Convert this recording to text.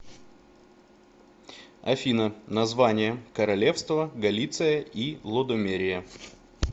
афина название королевство галиция и лодомерия